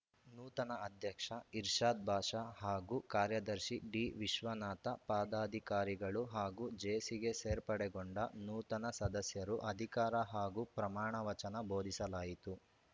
ನೂತನ ಅಧ್ಯಕ್ಷ ಇರ್ಷಾದ್‌ ಬಾಷಾ ಹಾಗೂ ಕಾರ್ಯದರ್ಶಿ ಡಿವಿಶ್ವನಾಥ ಪದಾಧಿಕಾರಿಗಳು ಹಾಗೂ ಜೇಸಿಗೆ ಸೇರ್ಪಡೆಗೊಂಡ ನೂತನ ಸದಸ್ಯರು ಅಧಿಕಾರ ಹಾಗೂ ಪ್ರಮಾಣ ವಚನ ಬೋಧಿಸಲಾಯಿತು